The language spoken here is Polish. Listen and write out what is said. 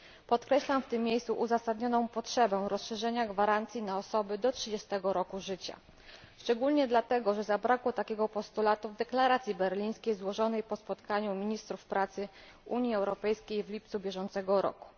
Podkreślam w tym miejscu uzasadnioną potrzebę rozszerzenia gwarancji na osoby do 30 roku życia, szczególnie dlatego, że zabrakło takiego postulatu w deklaracji berlińskiej, złożonej po spotkaniu ministrów pracy Unii Europejskiej w lipcu bieżącego roku.